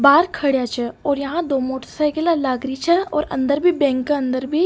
बाहर खड़ेया छे और यहाँ दो मोटर सायकिला लाग री छे और अंदर भी बैंक के अंदर भी --